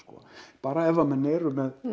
bara ef menn eru með